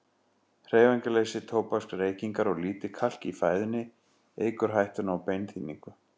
Hreyfingarleysi, tóbaksreykingar og lítið kalk í fæðunni eykur hættuna á beinþynningu.